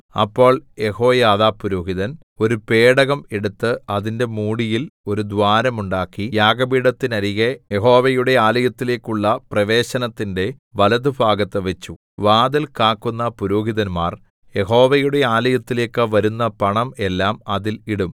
അപ്പോൾ യെഹോയാദാ പുരോഹിതൻ ഒരു പേടകം എടുത്ത് അതിന്റെ മൂടിയിൽ ഒരു ദ്വാരം ഉണ്ടാക്കി യാഗപീഠത്തിന്നരികെ യഹോവയുടെ ആലയത്തിലേക്കുള്ള പ്രവേശനത്തിന്റെ വലത്തുഭാഗത്ത് വെച്ചു വാതിൽ കാക്കുന്ന പുരോഹിതന്മാർ യഹോവയുടെ ആലയത്തിലേക്കു വരുന്ന പണം എല്ലാം അതിൽ ഇടും